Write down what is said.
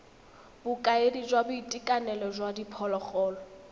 bokaedi jwa boitekanelo jwa diphologolo